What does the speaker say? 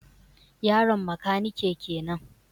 Yaron makanike kenan